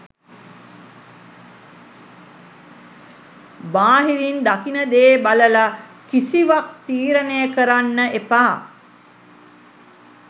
බාහිරින් දකින දේ බලලා කිසිවක් තීරණය කරන්න එපා.